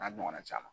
N'a ɲɔgɔnna caman